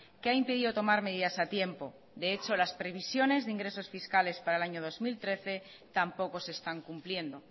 que ha impedido tomar medidas a tiempo de hecho las previsiones de ingresos fiscales para el año dos mil trece tampoco se están cumpliendo